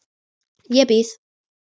Ég býð.